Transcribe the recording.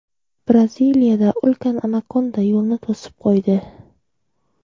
Braziliyada ulkan anakonda yo‘lni to‘sib qo‘ydi .